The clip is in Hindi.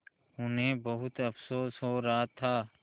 उन्हें बहुत अफसोस हो रहा था